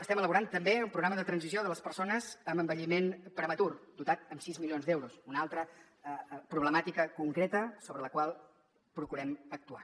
estem elaborant també un programa de transició de les persones amb envelliment prematur dotat amb sis milions d’euros una altra problemàtica concreta sobre la qual procurem actuar